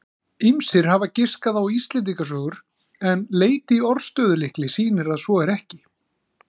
Ýmsir hafa giskað á Íslendingasögur en leit í orðstöðulykli sýnir að svo er ekki.